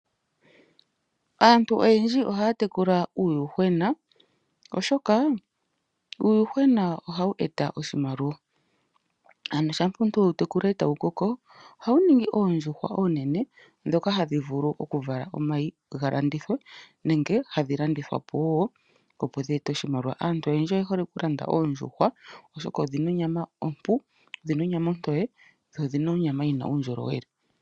Aantu oyendji ohaya tekula uuyuhwena, oshoka uuyuhwena ohawu eta oshimaliwa. Ano shampa omuntu we wu tekula etawu koko ohawu ningi oondjuhwa oonene ndhoka hadhi vulu oku vala omayi ga landithwe nenge hadhi landithwa po wo, opo dheete oshimaliwa. Aantu oyendji oye hole oku landa oondjuhwa, oshoka odhina onyama ompu, odhina onyama ontoye dho odhina onyama yina uundjolowele.